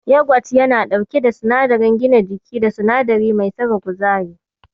Yagwat yana ɗauke da sinadarin gina jiki da sinadari mai saka kuzari.